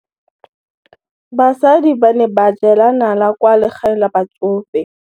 Basadi ba ne ba jela nala kwaa legaeng la batsofe.